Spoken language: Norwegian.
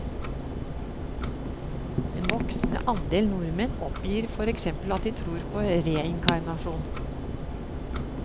En voksende andel nordmenn oppgir for eksempel at de tror på reinkarnasjon.